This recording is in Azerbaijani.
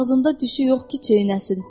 Ağzında dişi yox ki çeynəsin.